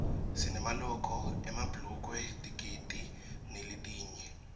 sinemaloko emabhulukwe tikedi naletinye